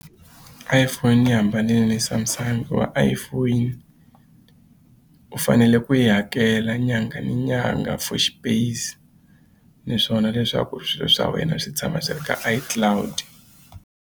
iPhone yi hambanile Samsung hikuva iPhone u fanele ku yi hakela nyangha ni nyangha for xipeyisi naswona leswaku swilo swa wena swi tshama swi ri ka iCloud.